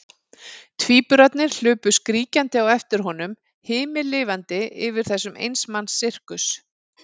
Tvíburarnir hlupu skríkjandi á eftir honum, himinlifandi yfir þessum eins manns sirkus.